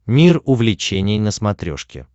мир увлечений на смотрешке